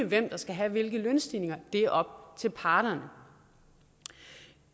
hvem der skal have hvilke lønstigninger det er op til parterne